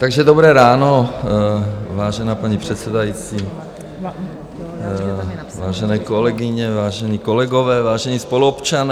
Takže dobré ráno, vážená paní předsedající, vážené kolegyně, vážení kolegové, vážení spoluobčané.